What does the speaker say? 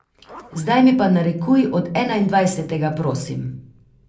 Zdaj mi pa narekuj od enaindvajsetega, prosim.